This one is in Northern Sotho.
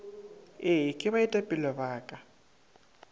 ee ke baetapele ba ka